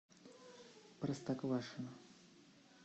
простоквашино